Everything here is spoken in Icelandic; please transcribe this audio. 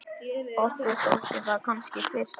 Okkur þótti það kannski fyrst.